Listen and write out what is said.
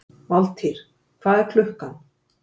Valtýr, hvað er klukkan?